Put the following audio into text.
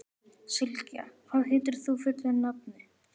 Sylgja, hvað heitir þú fullu nafni?